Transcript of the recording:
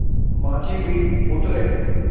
माँझी भी उतरे